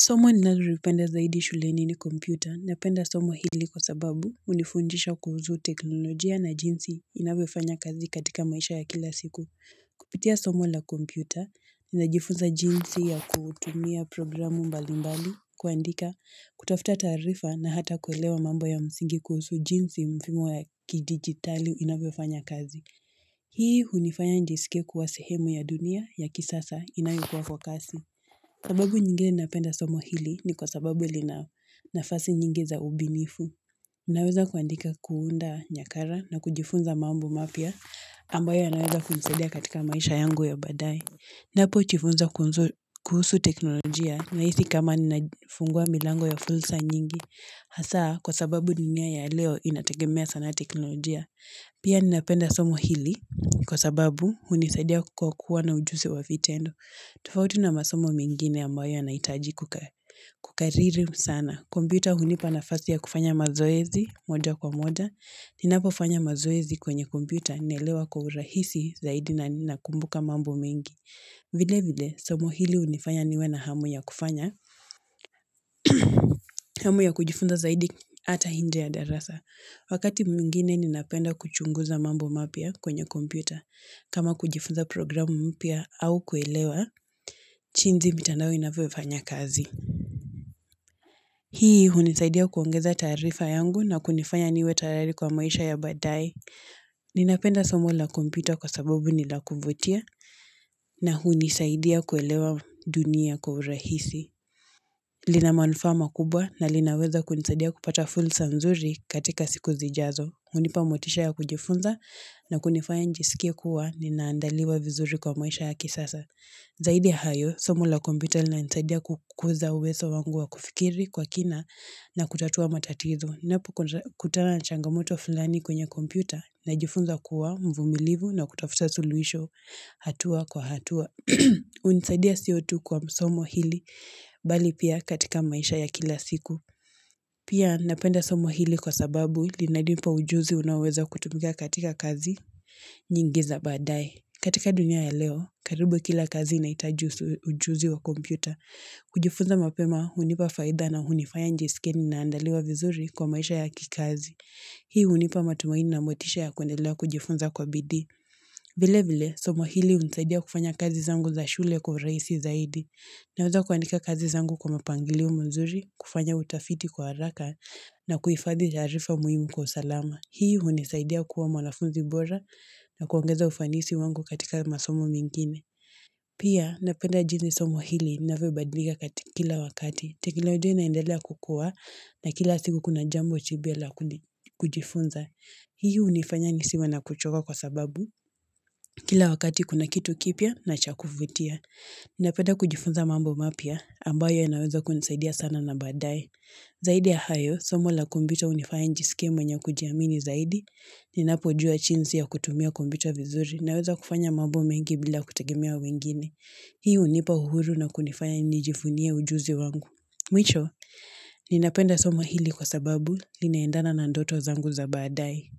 Somo ninalolipenda zaidi shuleni ni kompyuta na penda somo hili kwa sababu unifunjisha kuhusu teknolojia na jinsi inavyofanya kazi katika maisha ya kila siku. Kupitia somo la kompyuta, ninajifunza jinsi ya kutumia programu mbali mbali, kuandika kutafuta taarifa na hata kuelewa mambo ya msingi kuhusu jinsi mfimo ya kidigitali inavyofanya kazi. Hii unifanya nijiskie kuwa sehemu ya dunia ya kisasa inayokua kwa kasi. Sababu nyingine napenda somo hili ni kwa sababu lina nafasi nyingi za ubinifu. Ninaweza kuandika kuunda nyakara na kujifunza mambo mapia ambayo ya naweza kunisadia katika maisha yangu ya baadae. Napo jifunza kuhusu teknolojia na hisi kama ninafungua milango ya fulsa nyingi. Hasa kwa sababu dunia ya leo inategemea sana teknolojia. Pia ninapenda somo hili kwa sababu unisadia kwa kuwa na ujusi wa vitendo. Tofauti na masomo mengine ambayo yanahitaji kukariri sana. Kompyuta hunipa na fasi ya kufanya mazoezi moja kwa moja. Ninapo fanya mazoezi kwenye kompyuta naelewa kwa urahisi zaidi na nina kumbuka mambo mengi. Vile vile, somo hili unifanya niwe na hamu ya kufanya. Hamu ya kujifunza zaidi ata inje ya darasa. Wakati mwingine ninapenda kuchunguza mambo mapia kwenye kompyuta. Kama kujifunza programu mpia au kuelewa, jinzi mitandao inavyofanya kazi. Hii hunisaidia kuongeza taarifa yangu na kunifanya niwe tayari kwa maisha ya baadae. Ninapenda somo la kompyuta kwa sababu nila kuvutia na hunisaidia kuelewa dunia kwa urahisi. Lina manufaa ma kubwa na linaweza kunisadia kupata fulsa nzuri katika siku zijazo. Unipa motisha ya kujifunza na kunifanya nijisikia kuwa ni naandaliwa vizuri kwa maisha ya kisasa. Zaidi ya hayo, somo la kompyuta lina nisadia kukuza uwezo wangu wa kufikiri kwa kina na kutatua matatizo. Ninapo kutana na changamoto fulani kwenye kompyuta na jifunza kuwa mvumilivu na kutafuta suluhisho hatua kwa hatua. Unisadia sio kwa somo hili bali pia katika maisha ya kila siku. Pia napenda somo hili kwa sababu li nanimpa ujuzi unaoweza kutumika katika kazi nyingi za baadae. Katika dunia ya leo, karibu kila kazi inahitaji ujuzi wa kompyuta. Kujifunza mapema unipa faida na unifanya nijiskie ninaandaliwa vizuri kwa maisha ya kikazi. Hii unipa matumaini na motisha ya kwendelea kujifunza kwa bidii. Vile vile, somo hili unisaidia kufanya kazi zangu za shule kwa urahisi zaidi. Na weza kuandika kazi zangu kwa mapangilio mzuri, kufanya utafiti kwa haraka na kuhifadhi taarifa muhimu kwa usalama. Hii unisaidia kuwa mwanafunzi bora na kuongeza ufanisi wangu katika masomo mengine. Pia napeda jini somo hili linavyobadilika katika kila wakati. Teknologia inaendelea kukua na kila siku kuna jambo chibia la kujifunza. Hii unifanya nisiwe na kuchoka kwa sababu kila wakati kuna kitu kipia na chakufutia. Nina penda kujifunza mambo mapia ambayo yanaweza kunisaidia sana na baadae. Zaidi ya hayo, somo la kompyuta unifaya njiskie mwenye kujiamini zaidi. Ninapo jua chinsi ya kutumia kompyuta vizuri. Naweza kufanya mambo mengi bila kutegemea wengine. Hii unipa uhuru na kunifanya nijifunie ujuzi wangu. Mwisho, ninapenda somo hili kwa sababu linaendana na ndoto zangu za baadae.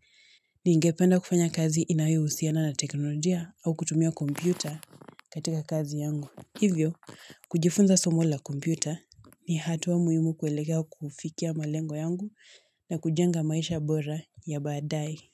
Ningependa kufanya kazi inayo husiana na teknolojia au kutumia kompyuta katika kazi yangu. Hivyo, kujifunza somo la kompyuta ni hatua muhimu kuelekea kufikia malengo yangu na kujenga maisha bora ya baadae.